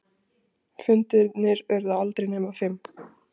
Fundirnir urðu aldrei nema fimm.